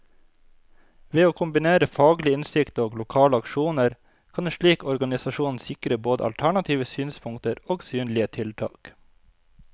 Ved å kombinere faglig innsikt og lokale aksjoner, kan en slik organisasjon sikre både alternative synspunkter og synlige tiltak.